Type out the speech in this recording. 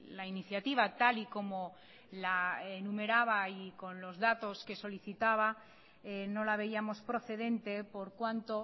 la iniciativa tal y como la enumeraba y con los datos que solicitaba no la veíamos procedente por cuanto